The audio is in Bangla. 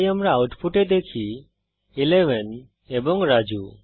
তাই আমরা আউটপুটে দেখি 11 এবং রাজু